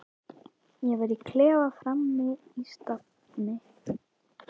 Ég var í klefa frammi í stafni.